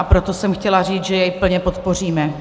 A proto jsem chtěla říct, že jej plně podpoříme.